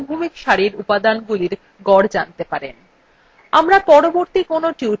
অনুরূপভাবে আপনি একটি অনুভূমিক সারির উপাদানগুলির গড় জানতে পারেন